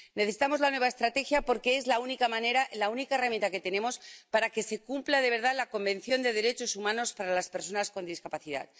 Necesitamos la nueva Estrategia, porque es la única manera, la única herramienta que tenemos para que se cumpla de verdad la Convención sobre los Derechos de las Personas con Discapacidad.